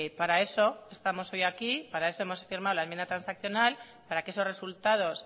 para eso estamos hoy aquí para eso hemos firmado la enmienda transaccional para que esos resultados